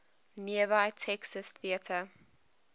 nearby texas theater